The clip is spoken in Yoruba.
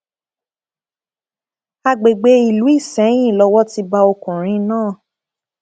àgbègbè ìlú isẹyìn lowó ti bá ọkùnrin náà